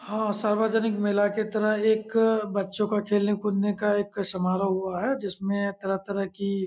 हा सार्वजनिक मेला के तरह एक बच्चों का खेलने कूदने का एक समारोह हुआ है जिसमे तरह तरह की--